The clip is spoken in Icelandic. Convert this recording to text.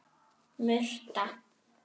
Murta